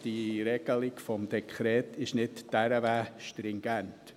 Die Regelung des Dekrets ist also nicht dermassen stringent.